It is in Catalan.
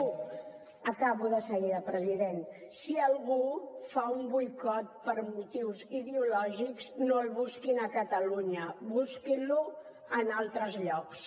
acabo de seguida president si algú fa un boicot per motius ideològics no el busquin a catalunya busquin lo en altres llocs